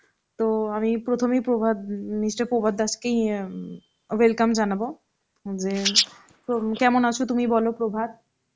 তো আমি প্রথমেই প্রভাত ইম , mister প্রভাত দাস কেই ইইম welcome জনাবো যে প্রো~ কেমন আছ তুমি বলো প্রভাত?